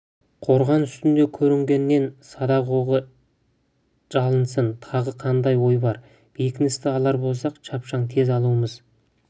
қорған үстінде көрінгеніне садақ оғы жалынсын тағы қандай ой бар бекіністі алар болсақ шапшаң тез алуымыз